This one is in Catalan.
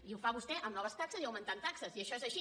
i ho fa vostè amb noves taxes i augmentant taxes i això és així